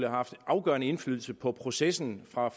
haft afgørende indflydelse på processen fra